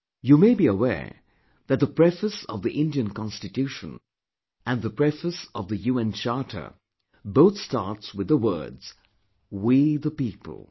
You may be aware that the preface of the Indian Constitution and the preface of the UN Charter; both start with the words 'We the people'